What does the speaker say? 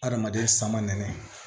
Adamaden san ma nɛnɛ